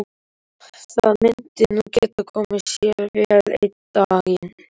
Það myndi nú geta komið sér vel einn daginn.